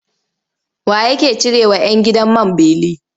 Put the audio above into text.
Wa ye yake cirewa 'yan gidan man beli?